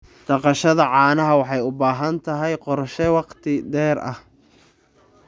Dhaqashada caanaha waxay u baahan tahay qorshe wakhti dheer ah.